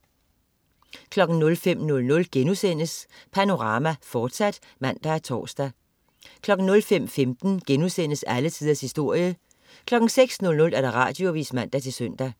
05.00 Panorama, fortsat* (man og tors) 05.15 Alle tiders historie* 06.00 Radioavis (man-søn)